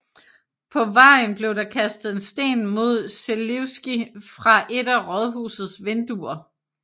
På vejen blev der kastet en sten mod Želivský fra et af rådhusets vinduer